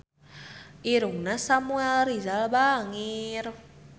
Irungna Samuel Rizal bangir